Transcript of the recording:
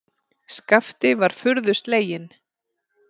Skapti var furðu sleginn.